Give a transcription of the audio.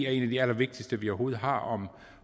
er en af de allervigtigste vi overhovedet har om